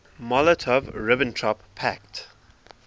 molotov ribbentrop pact